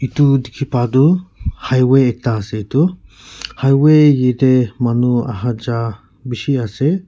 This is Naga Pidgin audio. itu dikhi pah du highway ekta ase itu highway yetey manu ahajah bishi ase.